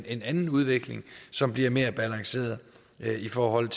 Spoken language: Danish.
en anden udvikling som bliver mere balanceret i forhold